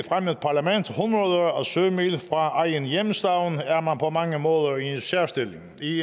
sømil fra egen hjemstavn er man på mange måder i en særstilling i